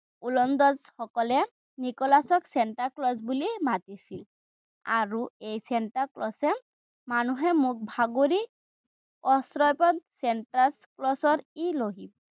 ওলন্দাজসকলে নিকোলাচক চেন্তাক্লজ বুলি মাতিছিল। আৰু এই চেন্তাক্লজে মানুহৰ মুখ বাগৰি চেন্তাক্লজৰ